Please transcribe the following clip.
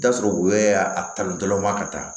I bi t'a sɔrɔ u bɛ a tali dɔla ka taa